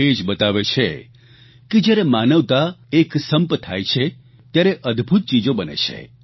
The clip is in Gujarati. એ જ બતાવે છે કે જયારે માનવતા એક સંપ થાય છે ત્યારે અદભૂત ચીજો બને છે